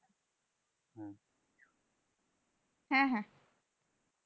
হ্যাঁ। হ্যাঁ।